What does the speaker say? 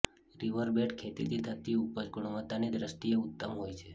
riverbed ખેતીથી થતી ઉપજ ગુણવત્તાની દ્રષ્ટિએ ઉત્તમ હોય છે